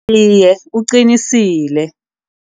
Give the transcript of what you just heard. Iye, uqinisile.